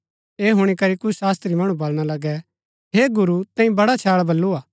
ऐह हुणी करी कुछ शास्त्री मणु वलणा लगै हे गुरू तैंई बड़ा छैळ बल्लू हा